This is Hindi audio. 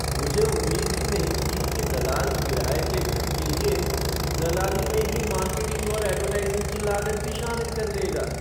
मुझे उम्मीद ही नहीं थी कि दलाल किराये के घर के लिए दलाली में ही मार्केटिंग और ऐडवर्टाइज़िंग की लागत भी शामिल कर लेगा।